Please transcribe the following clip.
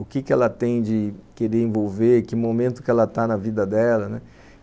o que que ela tem de querer envolver, que momento que ela está na vida dela, né